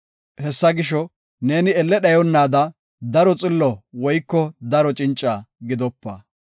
Hessa gisho, neeni elle dhayonnaada daro xillo woyko daro cinca gidopa.